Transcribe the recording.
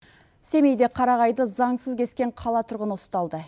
семейде қарағайды заңсыз кескен қала тұрғыны ұсталды